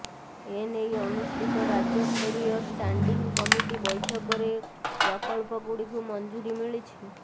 ଏ ନେଇ ଅନୁଷ୍ଠିତ ରାଜ୍ୟସ୍ତରୀୟ ଷ୍ଟାଣ୍ଡିଂ କମିଟି ବୈଠକରେ ପ୍ରକଳ୍ପଗୁଡ଼ିକୁ ମଞ୍ଜୁରି ମିଳିଛି